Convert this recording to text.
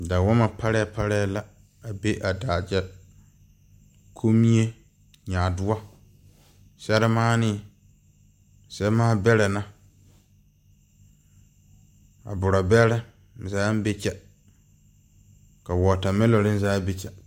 Dawoma paree paree la a be a daa kye kunmii, nyaadou ,serimaãnii semaaberee na a buraberi zaa be kye ka watamelonirii zaa be kye.